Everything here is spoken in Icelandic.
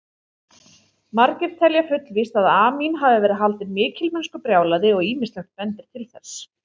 Margir telja fullvíst að Amín hafi verið haldinn mikilmennskubrjálæði og ýmislegt bendir til þess.